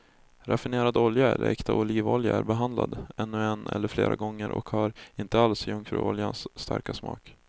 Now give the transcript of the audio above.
Raffinerad olja eller äkta olivolja är behandlad ännu en eller flera gånger och har inte alls jungfruoljans starka smak.